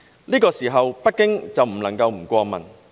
那個時候，北京過問不過問？